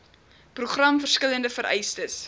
program verskillende vereistes